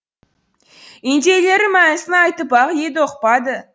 индейлері мәнісін айтып ақ еді ұқпады